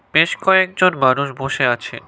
বেশ কয়েকজন মানুষ বসে আছে।